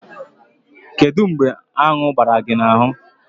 Kedu mgbe aṅu gbara gị n'ahụ?